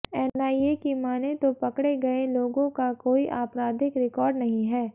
NIA की मानें तो पकड़े गये लोगों का कोई आपराधिक रिकॉर्ड नहीं है